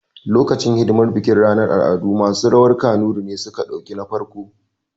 Lokacin hidimar bikin ranar al'adu, masu rawar kanuri ne suka ɗauki na farko